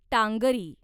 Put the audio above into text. Tangri